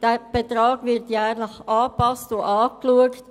Dieser Betrag wird jährlich angepasst und neu beurteilt.